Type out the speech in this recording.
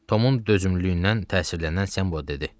Tomun dözümlülüyündən təsirlənən Sembo dedi.